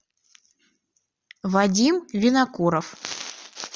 вадим винокуров